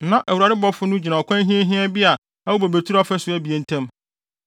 Na Awurade ɔbɔfo no gyina ɔkwan hiahiaa bi a ɛwɔ bobeturo afasu abien ntam.